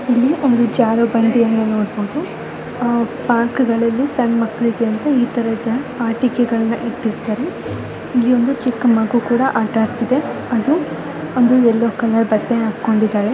ಇಲ್ಲಿ ಒಂದು ಜಾರುಬಂಡಿ ಯನ್ನ ನೋಡಬಹುದು ಪಾರ್ಕ್ಗಳಲ್ಲಿ ಸಣ್ಣ ಮಕ್ಲಿಗೆ ಇತರ ಒಂದು ಆಟಿಕೆ ಗಳ್ಳನ ಇಟ್ಟಿರತಾರೆ. ಇಲ್ಲಿ ಒಂದು ಚಿಕ್ಕ್ ಮಗು ಕೂಡ ಆಟ ಆಡ್ತಾಯಿದೆ ಅದು ಒಂದು ಯಲ್ಲೋ ಕಲರ್ ಬಟ್ಟೆ ಹಾಕೊಂಡಿದಾಳೆ .